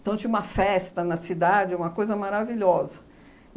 Então, tinha uma festa na cidade, uma coisa maravilhosa.